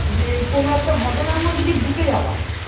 যে কোনো একটা ঘটনার মধ্যে যে ঢুকে যাওয়া